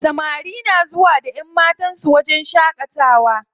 Samari na zuwa da ƴanmatan su wajen shaƙatawa.